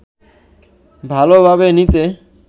ভালোভাবে নিতে